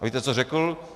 A víte, co řekl?